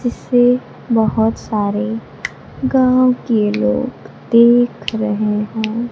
जिसे बहोत सारे गांव के लोग देख रहे हैं।